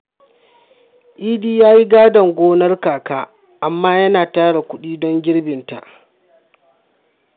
Idi ya yi gadon gonar kaka, amma yana tara kudi don girbinta.